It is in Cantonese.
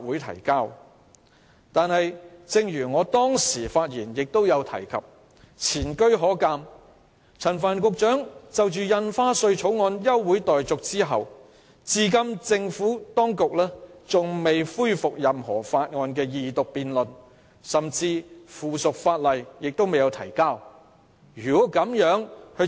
然而，正如我先前發言指出，前車可鑒，陳帆局長就《2017年印花稅條例草案》動議休會待續議案後，政府當局至今仍未恢復任何法案的二讀辯論，甚至未有提交任何附屬法例。